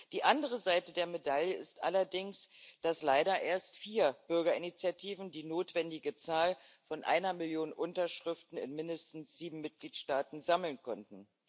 Die andere Seite der Medaille ist allerdings, dass leider erst vier Bürgerinitiativen die notwendige Zahl von einer Million Unterschriften in mindestens sieben Mitgliedstaaten sammeln konnten.